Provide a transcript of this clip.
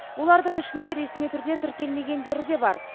олардың ішінде ресми түрде тіркелмегендері де бар